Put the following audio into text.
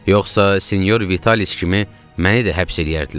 Yoxsa sinyor Vitas kimi məni də həbs eləyərdilər.